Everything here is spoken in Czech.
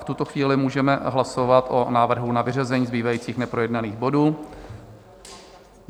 V tuto chvíli můžeme hlasovat o návrhu na vyřazení zbývajících neprojednaných bodů.